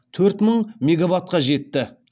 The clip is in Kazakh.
төрт мың мегаватқа жетті